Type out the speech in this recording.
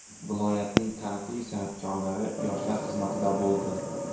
Viloyatning taniqli san’atkorlari yoshlar xizmatida bo‘ldi.